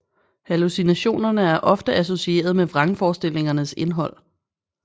Hallucinationerne er ofte associeret med vrangforestillingernes indhold